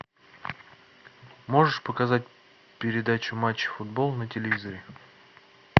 можешь показать передачу матч футбол на телевизоре